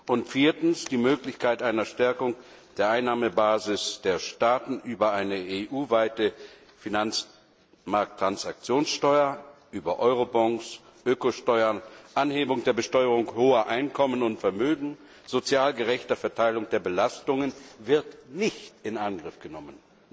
Und viertens, die Möglichkeit einer Stärkung der Einnahmebasis der Staaten über eine EU weite Finanzmarkttransaktionssteuer, über Eurobonds, Ökosteuern, Anhebung der Besteuerung hoher Einkommen und Vermögen, sozial gerechte Verteilung der Belastungen wird nicht in Angriff genommen.